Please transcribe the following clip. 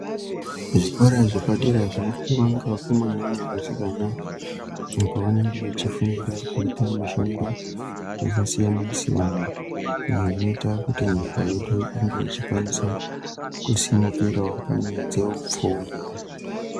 Zvikora zvepadera zvinofundwa ngevakomana nevasikana ,apo vanenge vechifundira kuita mishando yakasiyana-siyana, inoita kuti nyika yedu ikwanisa kusimukirawo panyaya dzeupfumi.